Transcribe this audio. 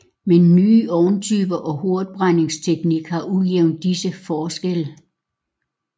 Men nye ovntyper og hurtigbrændingsteknik har udjævnet disse forskelle